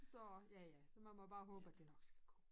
Så ja ja så man må bare håbe at det nok skal gå